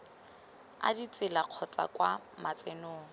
a ditsela kgotsa kwa matsenong